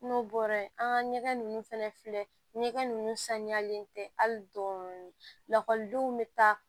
N'o bɔra ye an ka ɲɛgɛn ninnu fɛnɛ filɛ ɲɛgɛn ninnu saniyalen tɛ hali dɔɔni lakɔlidenw bɛ taa